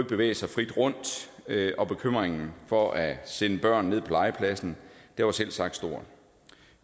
bevæge sig frit rundt og bekymringen for at sende børn ned på legepladsen var selvsagt stor